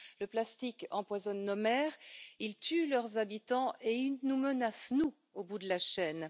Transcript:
Le plastique empoisonne nos mers, il tue leurs habitants et il nous menace, nous, au bout de la chaîne.